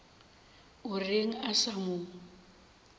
o reng a sa mo